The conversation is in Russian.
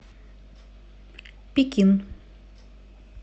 пекин